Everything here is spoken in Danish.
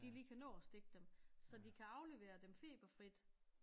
De lige kan nå at stikke dem så de kan aflevere dem feberfrit